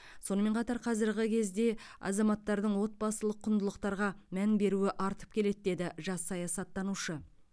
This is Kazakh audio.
сонымен қатар қазіргі кезде азаматтардың отбасылық құндылықтарға мән беруі артып келеді деді жас саясаттанушы